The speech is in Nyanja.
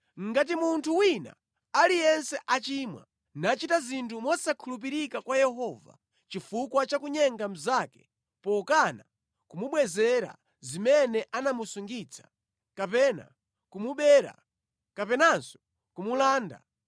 “Ngati munthu wina aliyense achimwa, nachita zinthu mosakhulupirika kwa Yehova chifukwa cha kunyenga mnzake pokana kumubwezera zimene anamusungitsa, kapena kumubera kapenanso kumulanda,